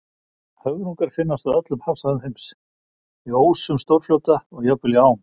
Höfrungar finnast á öllum hafsvæðum heims, í ósum stórfljóta og jafnvel í ám.